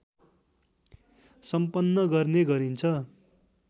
सम्पन गर्ने गरिन्छ